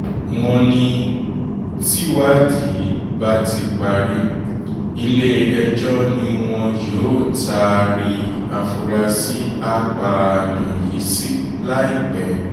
wọ́n ní tìwádìí bá ti parí ilé-ẹjọ́ ni wọn yóò taari àfúráṣí apààyàn yìí sí láìpẹ́